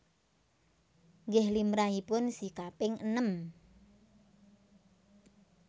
Nggih limrahipun si kaping enem